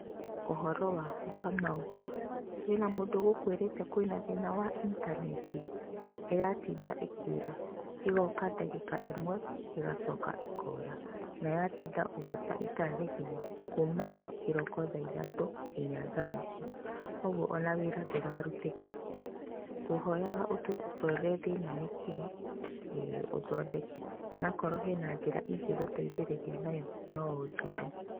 Ũhoro waku Kamau? Kwĩna mũndũ ũgũkwĩrĩte kwĩna thĩna wa intaneti? ĩratinda ĩkĩũra ĩgoka ndagĩka ĩmwe ĩgacoka ĩkora na ya tinda ũguo ta ithaa igima kuma kĩroko thaa ithatũ nginya thaa ici, koguo ona wĩra ndũrarutĩka. Ngũhoyaga ũtũrorere thĩna nĩ ũrĩkũ ee ũthondeke nakorwo kwĩna njĩra ingĩgũteithia nayo no ũnjĩre.